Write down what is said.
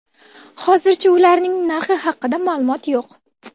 Hozircha ularning narxi haqida ma’lumot yo‘q.